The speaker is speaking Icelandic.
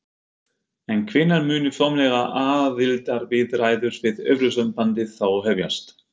En hvenær munu formlegar aðildarviðræður við Evrópusambandið þá hefjast?